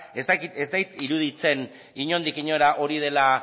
ez zait iruditzen inondik inora hori dela